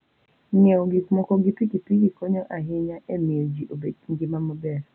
Ng'iewo gik moko gi pikipiki konyo ahinya e miyo ji obed gi ngima maber.